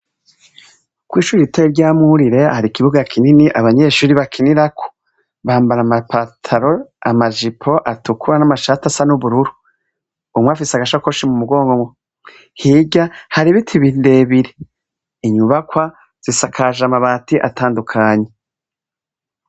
Kw'ishure ritoya rya Murire hari ikibuga kinini abanyeshure bakinirako, bambara amapatalo amajipo atukura n'amashati asa n’ubururu, umwe afise agasakoshi mu mugongo, hirya hari ibiti birebire Inyubakwa zisakaje amabati atandukanye.